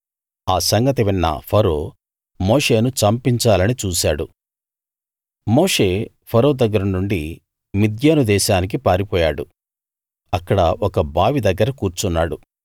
ఆ సంగతి విన్న ఫరో మోషేను చంపించాలని చూశాడు మోషే ఫరో దగ్గరనుండి నుండి మిద్యాను దేశానికి పారిపోయాడు అక్కడ ఒక బావి దగ్గర కూర్చున్నాడు